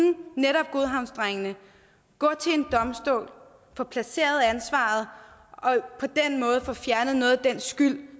netop godhavnsdrengene gå til en domstol få placeret ansvaret og få fjernet noget af den skyld